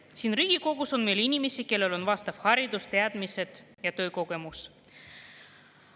Siin Riigikogus on meil inimesi, kellel on vastav haridus, teadmised ja töökogemus.